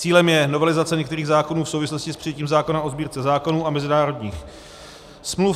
Cílem je novelizace některých zákonů v souvislosti s přijetím zákona o Sbírce zákonů a mezinárodních smluv.